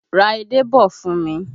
Ra edé bọ̀ fún mi!